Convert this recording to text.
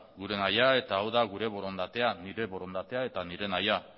gure nahia eta gure borondatea nire borondatea eta nire nahia